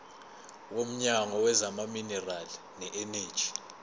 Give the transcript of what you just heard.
womnyango wezamaminerali neeneji